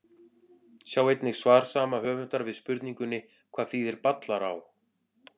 Sjá einnig svar saman höfundar við spurningunni Hvað þýðir Ballará?